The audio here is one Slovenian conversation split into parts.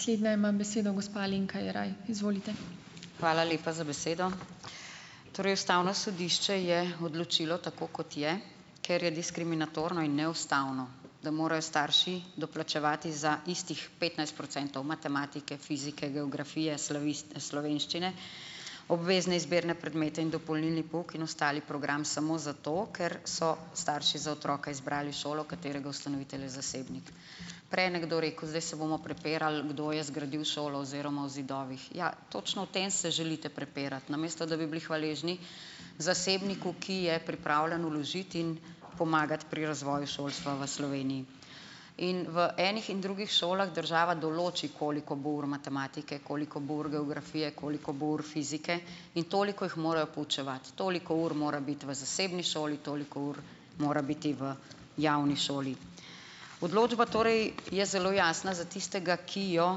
Slednja ima besedo gospa Alenka Jeraj, izvolite. Hvala lepa za besedo. Torej ustavno sodišče je odločilo tako, kot je, ker je diskriminatorno in neustavno, da morajo starši doplačevati za istih petnajst procentov matematike, fizike, geografije, slovenščine, obvezne izbirne predmete in dopolnilni pouk in ostali program samo zato, ker so starši za otroka izbrali šolo, katerega ustanovitelj je zasebnik, prej je nekdo rekel: "Zdaj se bomo prepirali, kdo je zgradil šolo oziroma o zidovih." Ja, točno, o tem se želite prepirati, namesto da bi bili hvaležni zasebniku, ki je pripravljen vložiti in pomagati pri razvoju šolstva v Sloveniji, in v enih in drugih šolah država določi, koliko bo ur matematike, koliko bo ur geografije, koliko bo ur fizike in toliko jih morajo poučevati, toliko ur mora biti v zasebni šoli, toliko ur mora biti v javni šoli, odločba torej je zelo jasna za tistega, ki jo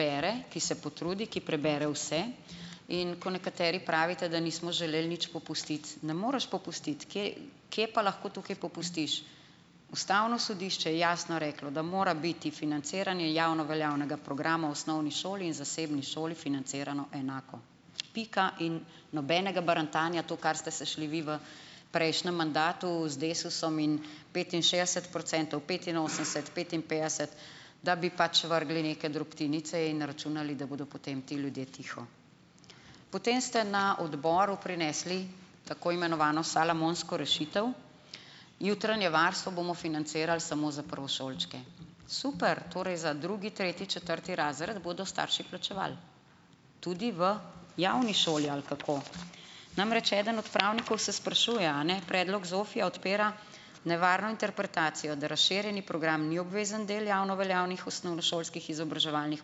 bere, ki se potrudi, ki prebere vse, in ko nekateri pravite, da nismo želeli nič popustiti, ne moreš popustiti, kje, kje pa lahko tukaj popustiš, ustavno sodišče je jasno reklo, da mora biti financiranje javno veljavnega programa osnovni šoli in zasebni šoli financirano enako, pika, in nobenega barantanja, to, kar ste se šli vi v prejšnjem mandatu z Desusom in petinšestdeset procentov, petinosemdeset, petinpetdeset, da bi pač vrgli neke drobtinice, in računali, da bodo potem ti ljudje tiho. Potem ste na odboru prinesli tako imenovano salomonsko rešitev: jutranje varstvo bomo financirali samo za prvošolčke, super, torej za drugi, tretji, četrti razred bodo starši plačevali tudi v javni šoli, ali kako, namreč eden od pravnikov se sprašuje, a ne, predlog ZOFI-ja odpira nevarno interpretacijo, da razširjeni program ni obvezen del javno veljavnih osnovnošolskih izobraževalnih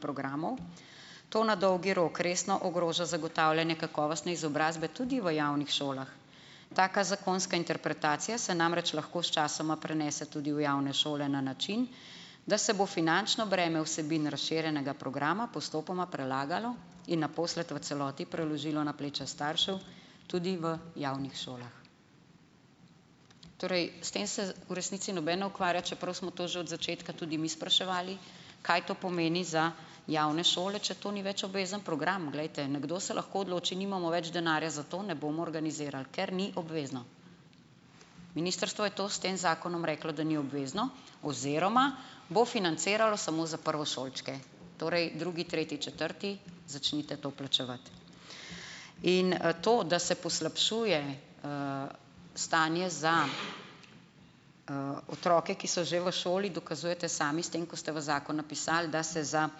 programov, to na dolgi rok resno ogroža zagotavljanje kakovostne izobrazbe tudi v javnih šolah, taka zakonska interpretacija se namreč lahko sčasoma prenese tudi v javne šole na način, da se bo finančno breme vsebin razširjenega programa postopoma prelagalo in naposled v celoti preložilo na pleča staršev tudi v javnih šolah, torej s tem se v resnici noben ne ukvarja, čeprav smo to že od začetka tudi mi spraševali, kaj to pomeni za javne šole, če to ni več obvezen program, glejte, nekdo se lahko odloči: "Nimamo več denarja za to, ne bomo organizirali, ker ni obvezno." Ministrstvo je to s tem zakonom reklo, da ni obvezno, oziroma bo financiralo samo za prvošolčke, torej drugi, tretji, četrti začnite to plačevati in, to, da se poslabšuje, stanje za, otroke, ki so že v šoli, dokazujete sami s tem, ko ste v zakon napisali, da se za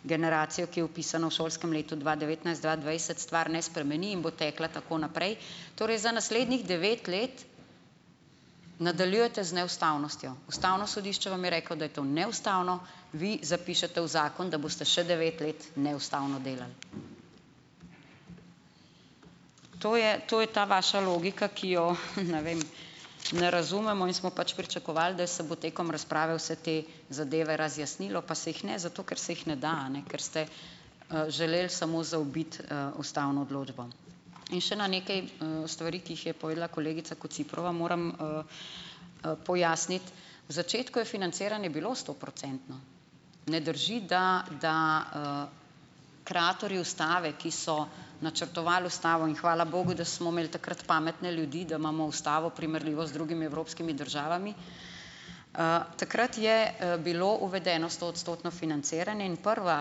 generacijo, ki je vpisana v šolskem letu dva devetnajst-dva dvajset, stvar ne spremeni in bo tekla tako naprej, torej za naslednjih devet let, nadaljujete z neustavnostjo, ustavno sodišče vam je reklo, da je to neustavno, vi zapišete v zakon, da boste še devet let neustavno delali, to je, to je ta vaša logika, ki jo, ne vem, ne razumemo in smo pač pričakovali, da se bo tekom razprave vse te zadeve razjasnilo pa se jih ne, zato ker se jih ne da, a ne, ker ste, želeli samo zaobiti, ustavno odločbo in še na nekaj, stvari, ki jih je povedala kolegica Kociprova, moram, pojasniti V začetku je financiranje bilo stoprocentno, ne drži, da, da, kraterju ustave, ki so načrtovali ustavo, in hvala bogu, da smo imeli takrat pametne ljudi, da imamo ustavo, primerljivo z drugimi evropskimi državami, takrat je bilo uvedeno stoodstotno financiranje in prva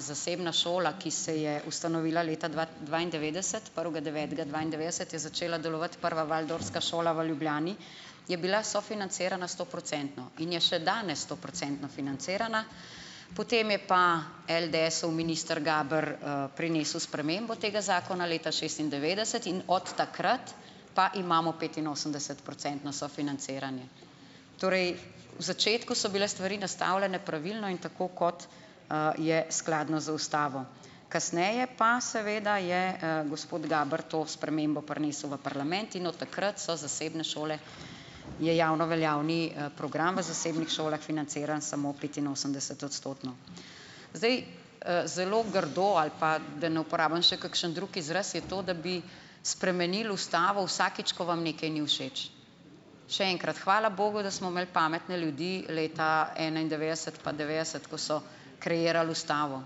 zasebna šola, ki se je ustanovila leta dva dvaindevetdeset prvega devetega dvaindevetdeset, je začela delovati prva waldorfska šola v Ljubljani, je bila sofinancirana stoprocentno in je še danes stoprocentno financirana, potem je pa LDS-ov minister Gaber, prinesel spremembo tega zakona leta šestindevetdeset in od takrat pa imamo petinosemdesetprocentno sofinanciranje, torej v začetku so bile stvari nastavljene pravilno in tako, kot, je skladno z ustavo, kasneje pa seveda je, gospod Gaber to spremembo prinesel v parlament in od takrat so zasebne šole, je javno veljavni, program v zasebnih šolah financiran samo petinosemdesetodstotno, zdaj, zelo grdo, ali pa da ne uporabim še kakšen drug izraz, je to, da bi spremenili ustavo vsakič, ko vam nekaj ni všeč, še enkrat hvala bogu, da smo imeli pametne ljudi leta enaindevetdeset pa devetdeset, ko so kreirali ustavo,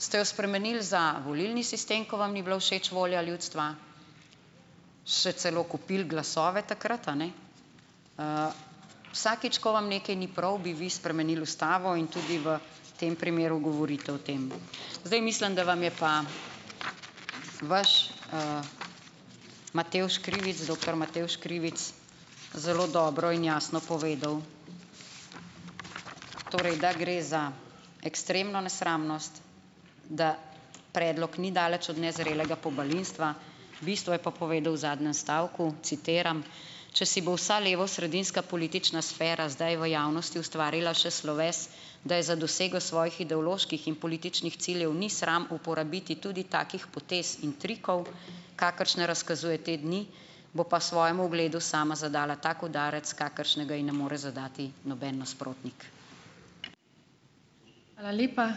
ste jo spremenili za volilni sistem, ki vam ni bila všeč, volja ljudstva, še celo kupili glasove takrat, a ne, vsakič, ko vam nekaj ni prav, bi vi spremenili ustavo in tudi v tem primeru govorite o tem, zdaj, mislim, da vam je pa vaš, Matevž Krivic, doktor Matevž Krivic zelo dobro in jasno povedal, torej da gre za ekstremno nesramnost, da predlog ni daleč od nezrelega pobalinstva, bistvo je pa povedal v zadnjem stavku, citiram: Če bi si vsa levosredinska politična sfera zdaj v javnosti ustvarila še sloves, da je za dosego svojih ideoloških in političnih ciljev ni sram uporabiti tudi takih potez in trikov, kakršne razkazuje te dni, bo pa svojemu ugledu sama zadala tak udarec, kakršnega ji ne more zadati noben nasprotnik. Hvala lepa, ...